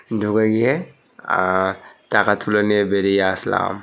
ঢুকে গিয়ে আ-আ টাকা তুলে নিয়ে বেরিয়ে আসলাম।